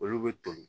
Olu bɛ toli